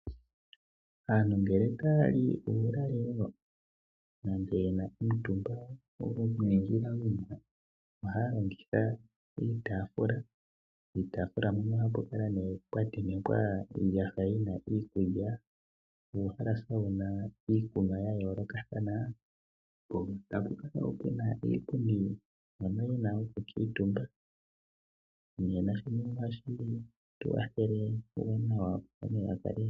Aantu ngele taya li uulalelo nenge ye na omitumba dhonomenawina ohaya longitha uutaafula. Puutaafula mpoka ohapu kala pwa tentekwa iiyaha yi na iikulya nuuhalasa wu na iikunwa ya yoolokathana, po tapu kala wo pu na iipundi mpono wu na okukuutumba.